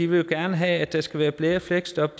vil have at der skal være flere fleksjob